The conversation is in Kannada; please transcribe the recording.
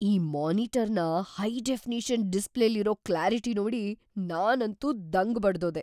ಈ ಮಾನಿಟರ್‌ನ ಹೈ-ಡೆಫಿನಿಷನ್ ಡಿಸ್ಪ್ಲೇಲಿರೋ ಕ್ಲ್ಯಾರಿಟಿ ನೋಡಿ ನಾನಂತೂ ದಂಗ್‌ ಬಡ್ದ್‌ಹೋದೆ.